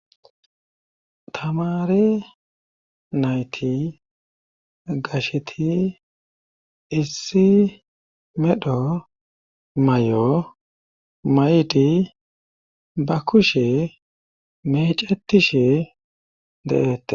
tamare nayti gasheti issi medho may7o may7idi ba kushe mecetishe deettes